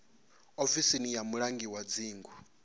ofisi ya mulangi wa dzingu